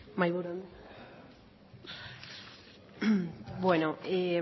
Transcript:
mahaiburu anderea